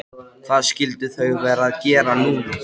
Hvað skyldu þau vera að gera núna?